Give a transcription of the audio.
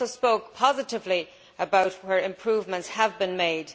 He also spoke positively about where improvements have been made.